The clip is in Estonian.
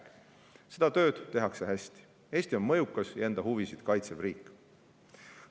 Ja seda tööd tehakse hästi – Eesti on mõjukas ja enda huvisid kaitsev riik.